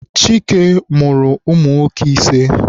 Chike mụrụ ụmụ nwoke ise.